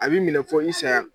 A bɛ i minɛ fo i saya.